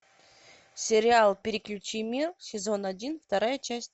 сериал переключи мир сезон один вторая часть